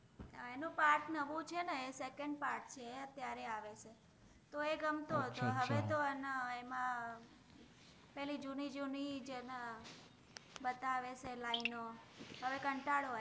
એનુ part નવુ છે ને secondpart છે એ અત્ત્ય઼આરે આવે છે તો એ ગમતો હતો હવે તો એમા પેલિ જુનિ જુનિ જ બતાવે છે લાઇનો હવે કન્તારો આવે